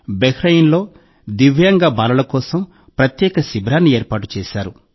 బహ్రెయిన్లో దివ్యాంగ బాలల కోసం ప్రత్యేక శిబిరాన్ని ఏర్పాటు చేశారు